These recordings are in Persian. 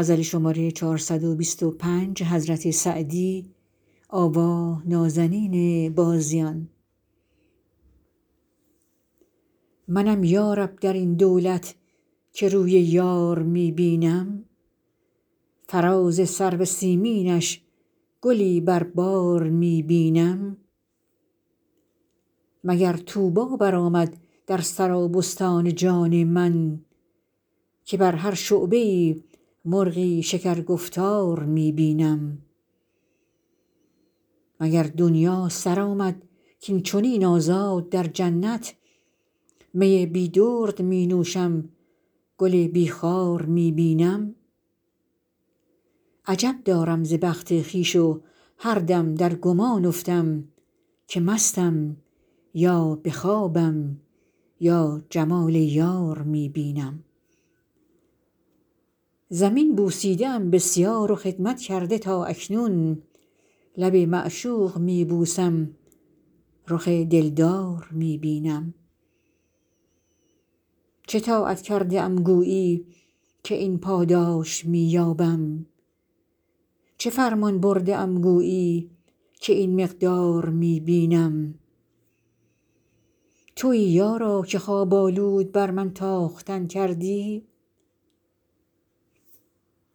منم یا رب در این دولت که روی یار می بینم فراز سرو سیمینش گلی بر بار می بینم مگر طوبی برآمد در سرابستان جان من که بر هر شعبه ای مرغی شکرگفتار می بینم مگر دنیا سر آمد کاین چنین آزاد در جنت می بی درد می نوشم گل بی خار می بینم عجب دارم ز بخت خویش و هر دم در گمان افتم که مستم یا به خوابم یا جمال یار می بینم زمین بوسیده ام بسیار و خدمت کرده تا اکنون لب معشوق می بوسم رخ دلدار می بینم چه طاعت کرده ام گویی که این پاداش می یابم چه فرمان برده ام گویی که این مقدار می بینم تویی یارا که خواب آلود بر من تاختن کردی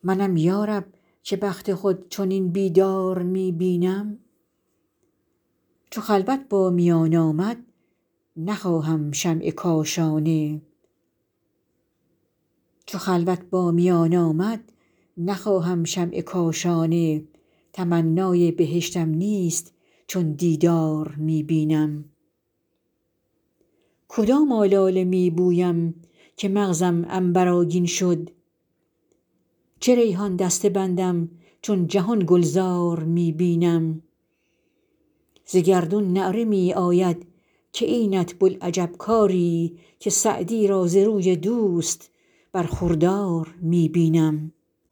منم یا رب که بخت خود چنین بیدار می بینم چو خلوت با میان آمد نخواهم شمع کاشانه تمنای بهشتم نیست چون دیدار می بینم کدام آلاله می بویم که مغزم عنبرآگین شد چه ریحان دسته بندم چون جهان گلزار می بینم ز گردون نعره می آید که اینت بوالعجب کاری که سعدی را ز روی دوست برخوردار می بینم